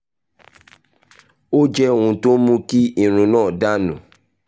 ó jẹ́ ohun tó ń mú kí irun náà dà nù